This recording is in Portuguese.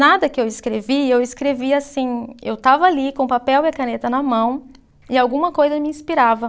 Nada que eu escrevi, eu escrevi assim, eu estava ali com o papel e a caneta na mão e alguma coisa me inspirava.